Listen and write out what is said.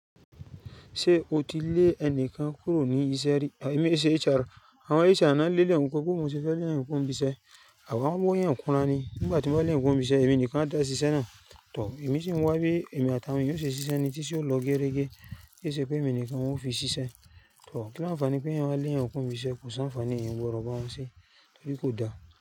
Ṣé o ti lé ẹnìkan kúrò ní iṣẹ́ rí? Ẹ̀mí i ṣe HR, àwọn HR náà ń lé le èhun kúrò bó ni mo ti fẹ́ lé èèyàn kúrò níbí iṣẹ́, àwọn ń wá èèyàn kùnra ni. Nígbà tí mo bá lé èèyàn euro níbí iṣẹ́, èmi nìkan a dá ṣíṣe náà. Tọ̀, èmi sì ń wá bí èmi àtàwọn yóò ṣe ṣiṣẹ́ ni tíṣẹ ó lọ géregé kí ṣe pé èmi nìkan wọn ó fi ṣiṣẹ́. Tọ̀, kí ńi ànfàní pé èèyàn wá lé èèyàn kúrò níbí iṣẹ́ kò sí àǹfààní èèyàn ò gbọ́dọ̀ bá wọn ṣe torí kò da.